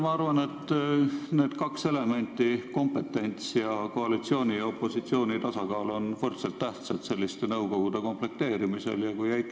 Ma arvan, et need kaks elementi – kompetents ning koalitsiooni ja opositsiooni tasakaal – on selliste nõukogude komplekteerimistel võrdselt tähtsad.